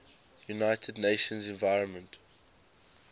united nations environment